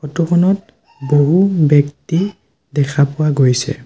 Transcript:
Photo খনত বহু ব্যক্তি দেখা পোৱা গৈছে।